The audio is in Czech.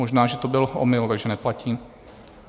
Možná že to byl omyl, takže neplatí.